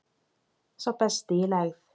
Sá besti í lægð